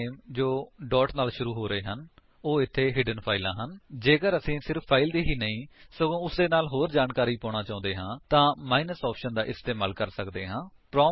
file name ਜੋ dot ਨਾਲ ਸ਼ੁਰੂ ਹੋ ਰਹੇ ਹਨ ਉਹ ਇੱਥੇ ਹਿਡਨ ਫਾਇਲਾਂ ਹਨ ਜੇਕਰ ਅਸੀ ਸਿਰਫ ਫਾਇਲ ਹੀ ਨਹੀਂ ਸਗੋਂ ਉਸਦੇ ਨਾਲ ਹੋਰ ਜਿਆਦਾ ਜਾਣਕਾਰੀ ਪਾਉਣਾ ਚਾਹੁੰਦੇ ਹਾਂ ਤਾਂ ਮਾਈਨਸ l ਆਪਸ਼ਨ ਦਾ ਇਸਤੇਮਾਲ ਕਰ ਸਕਦੇ ਹਾਂ